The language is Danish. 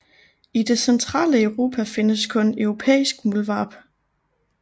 I det centrale Europa findes kun europæisk muldvarp